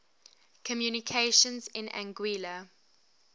communications in anguilla